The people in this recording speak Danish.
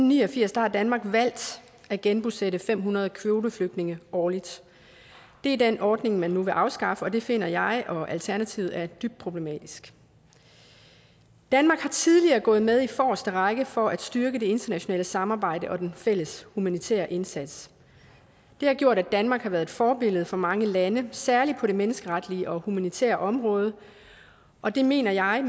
ni og firs har danmark valgt at genbosætte fem hundrede kvoteflygtninge årligt det er den ordning man nu vil afskaffe og det finder jeg og alternativet er dybt problematisk danmark har tidligere gået med i forreste række for at styrke det internationale samarbejde og den fælles humanitære indsats det har gjort at danmark har været et forbillede for mange lande særlig på det menneskeretlige og humanitære område og det mener jeg